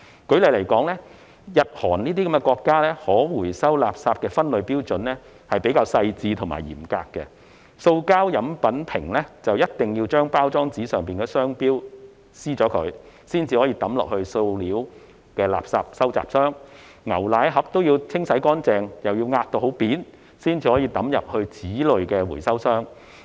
舉例來說，日、韓等國家可回收垃圾的分類標準比較細緻及嚴格，塑膠飲品瓶必須將包裝上的商標貼紙撕掉，才可掉進塑料垃圾收集箱；牛奶盒亦需要清洗乾淨並壓平後，才能丟進紙類回收箱。